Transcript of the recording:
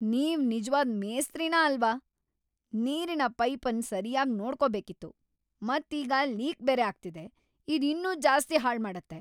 ನೀವು ನಿಜ್ವಾದ್ ಮೇಸ್ತ್ರಿನ ಅಲ್ವಾ? ನೀರಿನ ಪೈಪ್ ಅನ್ ಸರ್ಯಾಗ್ ನೋಡ್ಕೋಬೇಕಿತ್ತು. ಮತ್ ಈಗ ಲೀಕ್ ಬೇರೆ ಆಗ್ತಿದೆ, ಇದು ಇನ್ನೂ ಜಾಸ್ತಿ ಹಾಳ್ ಮಾಡುತ್ತೆ.!